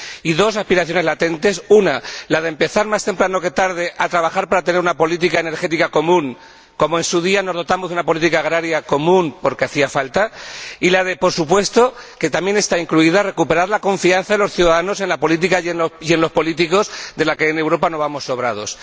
Y dos aspiraciones latentes una, la de empezar más temprano que tarde a trabajar para tener una política energética común, como, en su día, nos dotamos de una política agraria común, porque hacía falta, y, por supuesto, la aspiración, también incluida, de recuperar la confianza de los ciudadanos en la política y en los políticos, de la que en Europa no vamos sobrados.